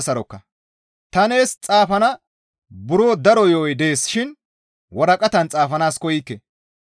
Ta nees xaafana buro daro yo7oy dees shin waraqatan xaafanaas koykke.